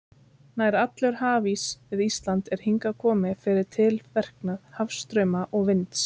Nær allur hafís við Ísland er hingað kominn fyrir tilverknað hafstrauma og vinds.